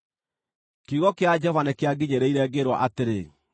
Kiugo kĩa Jehova nĩkĩanginyĩrĩire, ngĩĩrwo atĩrĩ: